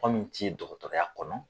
Kuma m ti dɔgɔtɔrɔya kɔnɔ